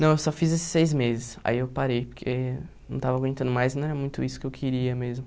Não, eu só fiz esses seis meses, aí eu parei, porque não estava aguentando mais, não era muito isso que eu queria mesmo.